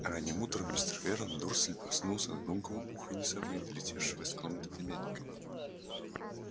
ранним утром мистер вернон дурсль проснулся от громкого уханья совы долетевшего из комнаты племянника